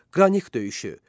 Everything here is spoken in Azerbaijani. Qranik döyüşü.